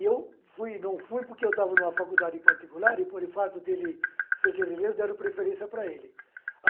E eu fui não fui porque eu estava em uma faculdade particular e por o fato de ele ser guerrilheiro deram preferência para ele.